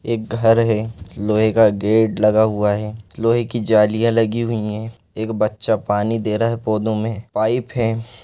एक घर है लोहे का गेट लगा हुआ है लोहे की जालियाँ लगी हुई है एक बच्चा पानी दे रहा है पौधों में पाइप हैं।